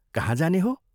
कहाँ जाने हो?